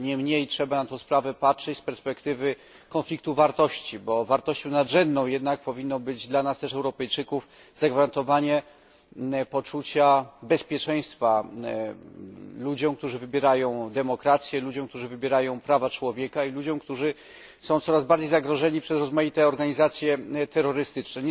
Niemniej trzeba na tę sprawę patrzeć z perspektywy konfliktu wartości, bo wartością nadrzędną powinno być jednak dla nas Europejczyków zagwarantowanie poczucia bezpieczeństwa ludziom, którzy wybierają demokrację, ludziom, którzy wybierają prawa człowieka, i ludziom, którzy są coraz bardziej zagrożeni przez rozmaite organizacje terrorystyczne.